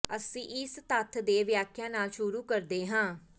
ਅਸੀਂ ਇਸ ਤੱਥ ਦੇ ਵਿਆਖਿਆ ਨਾਲ ਸ਼ੁਰੂ ਕਰਦੇ ਹਾਂ